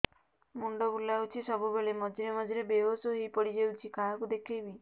ମୁଣ୍ଡ ବୁଲାଉଛି ସବୁବେଳେ ମଝିରେ ମଝିରେ ବେହୋସ ହେଇ ପଡିଯାଉଛି କାହାକୁ ଦେଖେଇବି